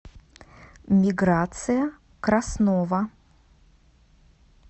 миграция краснова